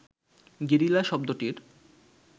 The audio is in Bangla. গেরিলা শব্দটির